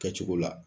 Kɛcogo la